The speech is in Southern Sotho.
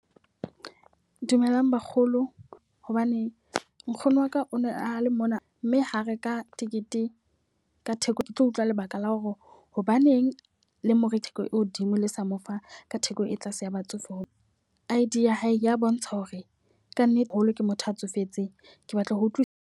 Dumelang bakgolo, hobane nkgono waka o ne a le mona mme ho reka tikete ka theko. Ke tlo utlwa lebaka la hore hobaneng the more theko e hodimo le sa mo fa ka theko e tlase ya batsofe. Ho I_D ya hae ya bontsha hore ka nnete holo ke motho a tsofetseng, ke batla ho utlwi.